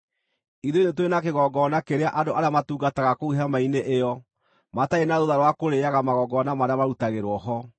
Ithuĩ nĩ tũrĩ na kĩgongona kĩrĩa andũ arĩa matungataga kũu hema-inĩ ĩyo matarĩ na rũtha rwa kũrĩĩaga magongona marĩa marutagĩrwo ho.